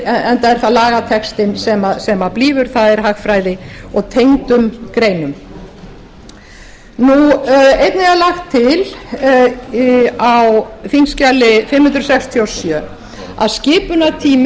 enda er það lagatextinn sem blífur það er hagfræði og tengdum greinum einnig er lagt til á þingskjali fimm hundruð fjörutíu og sjö að skipulagstími